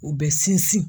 U bɛ sinsin